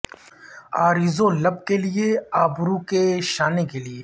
عارض و لب کے لیے ابرو کے شانے کے لیے